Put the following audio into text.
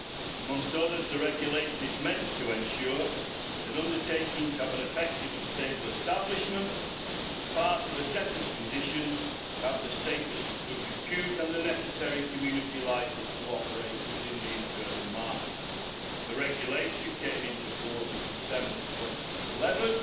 Amongst other things, the regulation is meant to ensure that undertakings have an effective and stable establishment, as part of a set of conditions, and have the status of good repute and the necessary community licence to operate within the internal market. The regulation came into force in December 2011,